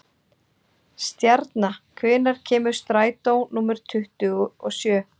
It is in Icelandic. Stjarna, hvenær kemur strætó númer tuttugu og sjö?